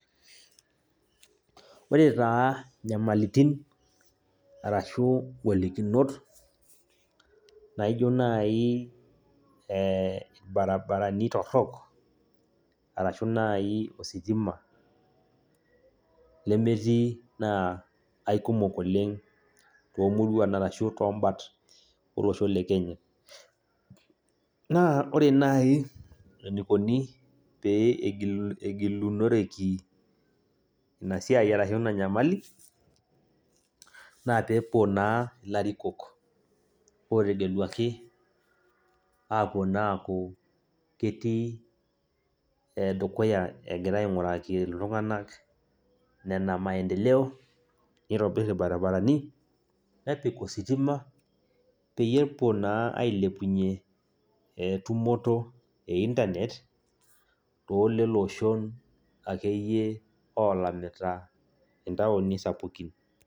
Ore taa nyamalitin arashu golikinot naijo nai irbarabarani torrok, arashu nai ositima lemetii, naa aikumok oleng tomuruan arashu tobat olosho le Kenya. Naa ore nai, enikoni pee egilunoreki, inasiai arashu ina nyamali, naa pepuo naa ilarikok otegeluaki, apuo naa aku ketii dukuya egira aing'uraki iltung'anak nena maendeleo nitobir irbarabarani, nepik ositima, peyie epuo naa ailepunye tumoto e Internet, toleloshon akeyie olamita intaoni sapukin.